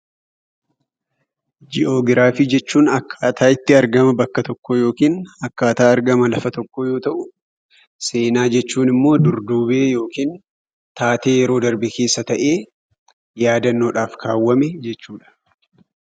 Jii'oogiraafii jechuun akkaataa itti argama bakka tokkoo yookiin akkaataa argama lafa tokkoo yoo ta'u, seenaa jechuun immoo durduubee taatee yeroo darbe keessa ta'ee yaadannoodhaan kaawwameedha.